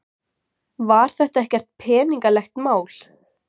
Var þetta ekkert peningalegt mál?